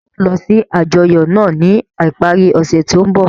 Ṣe iwọ yoo lọ si ajọyọ naa ni ipari ose to nbọ?